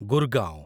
Gurgaon